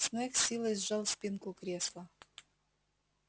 снегг с силой сжал спинку кресла